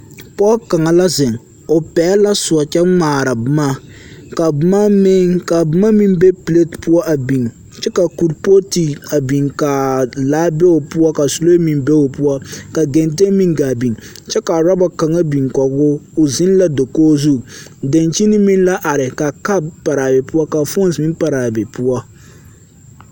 Pͻge kaŋa la zeŋe, o pԑgele la sõͻ kyԑ ŋmaara boma, ka boma meŋ ka boma meŋ be pileti poͻ a biŋ kyԑ ka kuripootu a biŋ ka a laa be o poͻ ka suree meŋ be o poͻ ka genteŋ meŋ gaa biŋ kyԑ ka orͻba kaŋa biŋ kͻge o. o zeŋ la dakogi zu, daŋkyini meŋ la are ka kap pare a be poͻ ka foose meŋ paraa be poͻ.